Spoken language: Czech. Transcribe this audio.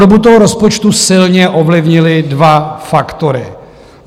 Podobu toho rozpočtu silně ovlivnily dva faktory.